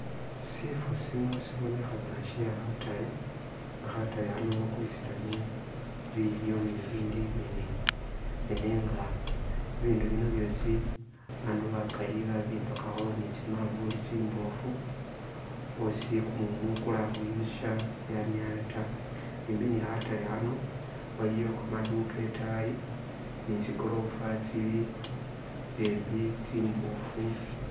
Shifo shino shibonekhana she khataale bakulisilamo bilyo ibindi nenga bibindu bino byosi abandu bakaali babimbakakho ne tsimafulu tsimbofu oosi kumumu kula khubyosha byaniala ta, simbi ne khataale khano waliyo kamaduka itaayi ne tsigorofa tsili embi tsimbofu.